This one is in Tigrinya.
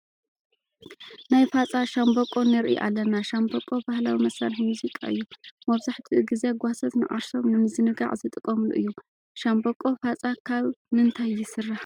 ናይ ፋፃ ሻምበቆ ንርኢ ኣለና፡፡ ሻምበቆ ባህላዊ መሳርሒ ሙዚቃ እዩ፡፡ መብዛሕትኡ ግዜ ጓሶት ንዓርሶም ንምዝንጋዕ ዝጥቀሙሉ እዩ፡፡ ሻምበቆ ፋፃ ካብ ምንታይ ይስራሕ?